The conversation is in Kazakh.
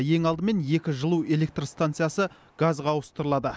ең алдымен екі жылу электростанциясы газға ауыстырылады